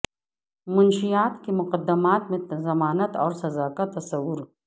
منشیات کے مقدمات میں ضمانت اور سزا کا تصور